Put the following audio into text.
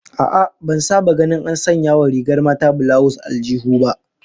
A'a, ban saba ganin an sanya wa rigar mata bulawus aljihu ba